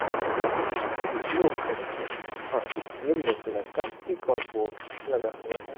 और सामने ही कुछ लोग खड़े है और येलो कलर का एक और बोर्ड लगा हुआ है।